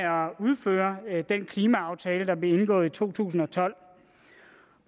udføre den klimaaftale der blev indgået i to tusind og tolv